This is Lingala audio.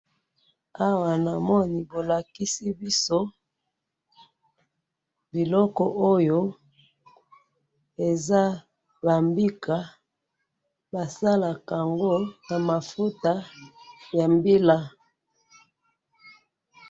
Ada balakisi biso biloko eza na kati mbila oyo basalaka na yango mafuta ya mbila.